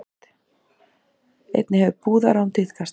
Einnig hefur brúðarrán tíðkast